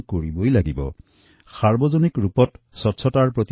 এই কথা নতুন নহয় কিন্তু স্বচ্ছতাক সামাজিক স্বভাৱত পৰিণত কৰা অতি জৰুৰী